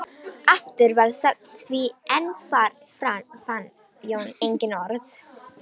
Aftur varð þögn því enn fann Jón engin orð.